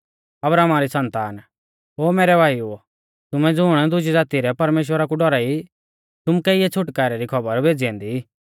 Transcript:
अब्राहमा री सन्तान ओ मैरै भाईओ तुमै ज़ुण दुजी ज़ाती रै परमेश्‍वरा कु डौराई तुमुकै इऐ छ़ुटकारै री खौबर भेज़ी औन्दी